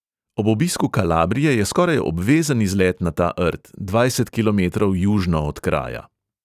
Ob obisku kalabrije je skoraj obvezen izlet na ta rt, dvajset kilometrov južno od kraja.